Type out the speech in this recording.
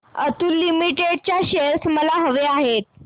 Atul limited चे shares मला हवे आहेत